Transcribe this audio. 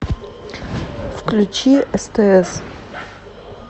включи стс